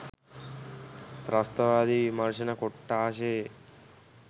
ත්‍රස්තවාදී විමර්ශන කොට්ඨාසයේ